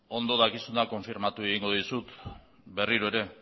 ondo dakizuna konfirmatuko egin dizut berriro ere